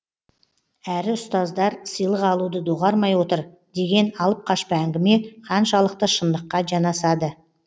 әрі ұстаздар сыйлық алуды доғармай отыр деген алып қашпа әңгіме қаншалықты шындыққа жанасады